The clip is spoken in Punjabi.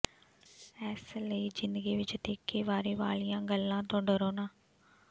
ਇਸ ਲਈ ਜ਼ਿੰਦਗੀ ਵਿਚ ਤਿੱਖੀ ਵਾਰੀ ਵਾਲੀਆਂ ਗੱਲਾਂ ਤੋਂ ਡਰੋ ਨਾ